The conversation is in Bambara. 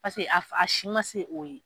Paseke a si ma se'o ye.